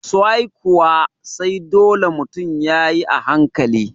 soai kuwa, sai dole mutun yayi a hankali